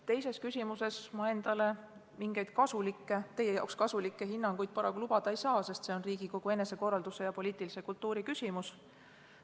Teises küsimuses ma endale mingisuguseid kasulikke – teie jaoks kasulikke – hinnanguid paraku lubada ei saa, sest see on Riigikogu enesekorralduse ja poliitilise kultuuri küsimus.